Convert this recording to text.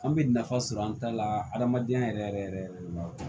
An bɛ nafa sɔrɔ an ta la adamadenya yɛrɛ yɛrɛ yɛrɛ de ma